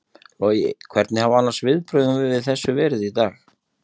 Logi: Hvernig hafa annars viðbrögðin við þessu verið í dag?